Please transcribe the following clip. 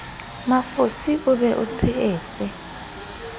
mafosi o be o tshehetse